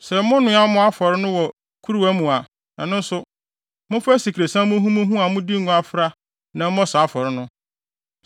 Sɛ monoa mo afɔre no wɔ kuruwa mu a, ɛno nso, momfa asikresiam muhumuhu a mode ngo afra na ɛmmɔ saa afɔre no.